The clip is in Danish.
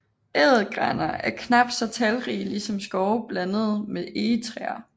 Ædelgraner er knap så talrige ligesom skove blandet med egetræer